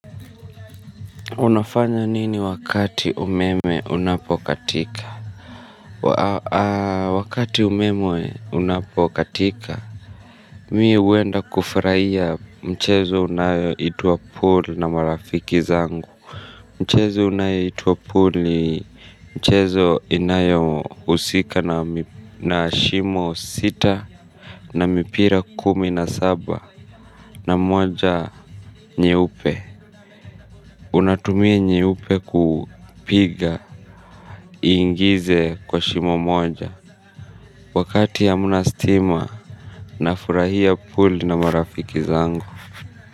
Unafanya nini wakati umeme unapokatika? Wakati umeme unapokatika mi uenda kufuraia mchezo unayoitwa pool na marafiki zangu. Mchezo unayeitwa pool ni mchezo inayo usika na shimo sita na mipira kumi na saba na mwaja nyeupe. Unatumia nyeupu kupiga iingize kwa shimo moja. Wakati hamna stima nafurahia pool na marafiki zangu.